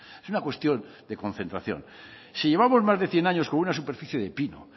es una cuestión de concentración si llevamos más de cien años con una superficie de pino